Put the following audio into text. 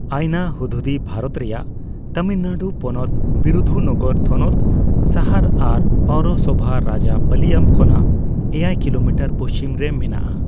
ᱟᱭᱱᱟ ᱦᱩᱫᱦᱩᱫᱤ ᱵᱷᱟᱨᱚᱛ ᱨᱮᱭᱟᱜ ᱛᱟᱹᱢᱤᱞᱱᱟᱹᱲᱩ ᱯᱚᱱᱚᱛ ᱵᱤᱨᱩᱫᱷᱩᱱᱚᱜᱚᱨ ᱛᱷᱚᱱᱚᱛ ᱥᱟᱦᱟᱨ ᱟᱨ ᱯᱳᱣᱨᱳᱥᱚᱵᱷᱟ ᱨᱟᱡᱟᱯᱟᱞᱤᱭᱟᱢ ᱠᱷᱚᱱᱟᱜ ᱮᱭᱟᱭ ᱠᱤᱞᱚᱢᱤᱴᱟᱨ ᱯᱩᱪᱷᱤᱢᱨᱮ ᱢᱮᱱᱟᱜᱼᱟ ᱾